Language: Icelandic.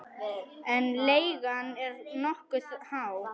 En leigan er nokkuð há.